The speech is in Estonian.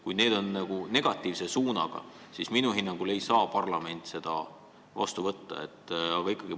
Kui neid kahte asja tabab negatiivne mõju, siis minu hinnangul ei saa parlament seda eelnõu heaks kiita.